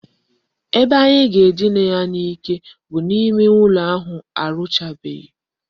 Ebe anyị ga-edina ya n'ike bụ n'ime ụlọ ahụ arụchabeghi